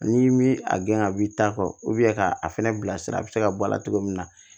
N'i mi a gɛn ka b'i ta kɔ ka a fɛnɛ bila sira a be se ka bɔ a la cogo min na